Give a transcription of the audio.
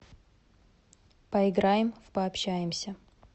поиграем в пообщаемся